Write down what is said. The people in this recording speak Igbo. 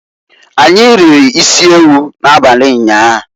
Anyi riri isiewu na-abali nyaa..